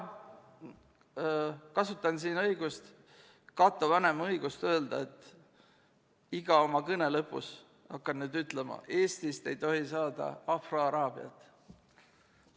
Kasutan siin Cato Vanema õigust öelda, et iga oma kõne lõpus hakkan ütlema, et Eestist ei tohi saada afroaraabiat.